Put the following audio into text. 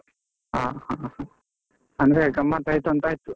ಹಾ ಹಾ ಹಾ, ಅಂದ್ರೆ ಗಮ್ಮತ್ತು ಆಯ್ತು ಅಂತ ಆಯ್ತು.